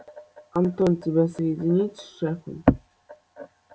антон тебя соединить с шефом